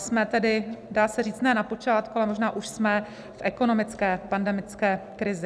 Jsme tedy, dá se říct, ne na počátku, ale možná už jsme v ekonomické pandemické krizi.